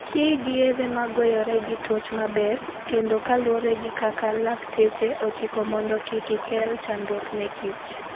Ti gi yedhe ma goyore gi tuoch maber ,kendo kaluwore gi kaka lakteche ochiko mondo kik ikel chandruok ne kich